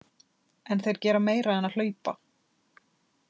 En þeir gera meira en að hlaupa.